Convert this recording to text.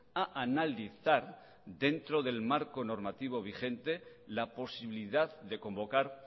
a analizar dentro del marco normativo vigente la posibilidad de convocar